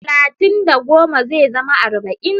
Talatin da goma zai zama arba'in.